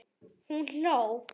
Hún hló.